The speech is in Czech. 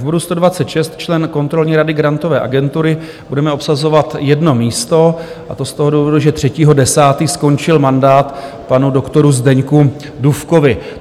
V bodu 126, člen kontrolní rady Grantové agentury, budeme obsazovat jedno místo, a to z toho důvodu, že 3. 10. skončil mandát panu doktoru Zdeňku Dufkovi.